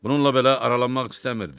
Bununla belə aralanmaq istəmirdi.